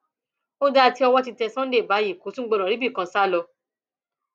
ó dáa tí owó ti tẹ sunday báyìí kò tún gbọdọ ríbi kan sá lọ